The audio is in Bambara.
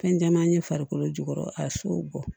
Fɛn caman ye farikolo jukɔrɔ a sow bɔ